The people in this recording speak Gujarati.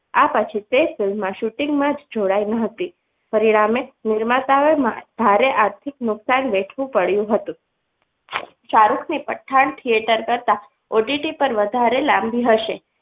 આ પછી તે film ના shooting માં જોડાઈ ન હતી પરિણામે નિર્માતા હોય ભારી આર્થિક નુકસાન વેઠવું પડ્યું હતું સારું કે પઠાણ theatre કરતા OTT પર વધારે લાંબી હશે.